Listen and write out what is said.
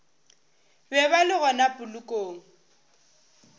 be ba le gona polokong